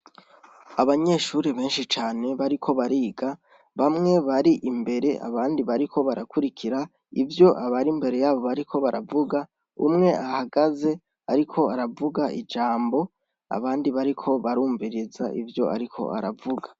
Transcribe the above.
Abanyeshure benshi cane bariko bariga, bamwe bari imbere, abandi bariko barakurikira ivyo abari imbere yabo bariko baravuga, umwe ahagaze ariko aravuga ijambo, abandi bariko barumviriza ivyo ariko aravuga.